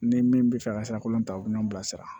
Ni min bɛ fɛ ka sirakolo ta u bɛ n'o bila sira